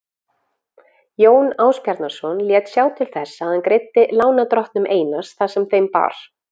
Jón Ásbjarnarson lét sjá til þess að hann greiddi lánardrottnum Einars það sem þeim bar.